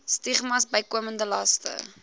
stigmas bykomende laste